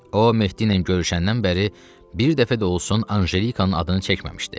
O Mehdi ilə görüşəndən bəri bir dəfə də olsun Anjelikanın adını çəkməmişdi.